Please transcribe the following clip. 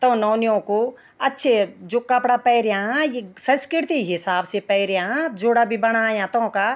तों नौनियों को अच्छे जू कपड़ा पैर्या यी संस्किर्ति हिसाब से पैर्या जूडा भी बणाया तौंका।